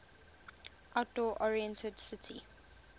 outdoor oriented city